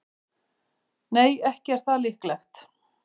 Nei, ekki er það líklegt.